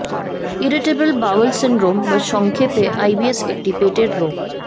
irritable bowel syndrome বা সংক্ষেপে IBS একটি পেটের রোগ